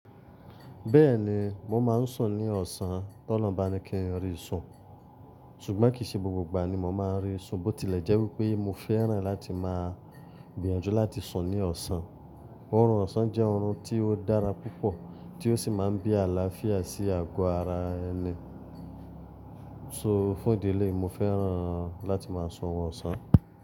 Bẹ́ẹ̀ni, mo máa ń sùn ní ọ̀sán t'olohun bá ni kí n rí ìsùn. Sugbọn kìí ṣe gbogbo ìgbà ni mo máa ń rí ìsùn, bó tilẹ̀ jẹ́ wípé mo fẹ́ràn láti máa gbìyànjú láti sùn ní ọ̀sán. Orun ọ̀sán jẹ́ ọ̀run tí ó dára púpọ̀ tí ó sì máa ń bí àlàáfíà sí àgọ́ ara ẹni. So fún ìdi eleyi, mo fẹ́ràn láti máa sùn wọn ọ̀sán.